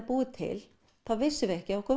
búið til þá vissum við ekki að okkur